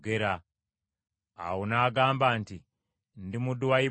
Awo n’agamba nti, “Ndi muddu wa Ibulayimu.